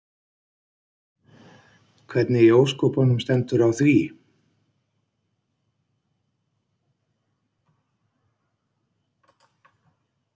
Hvernig í ósköpunum stendur á því?